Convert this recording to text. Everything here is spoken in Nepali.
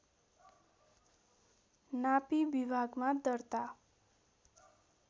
नापी विभागमा दर्ता